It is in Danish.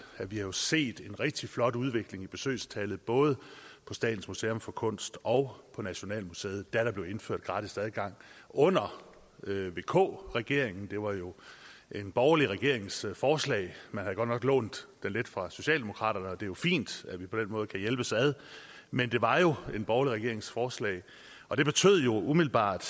at vi har set en rigtig flot udvikling i besøgstallet både på statens museum for kunst og på nationalmuseet da der blev indført gratis adgang under vk regeringen det var jo en borgerlig regerings forslag man havde godt nok lånt lidt fra socialdemokraterne og det er jo fint at vi på den måde kan hjælpes ad men det var jo en borgerlig regerings forslag og det betød jo umiddelbart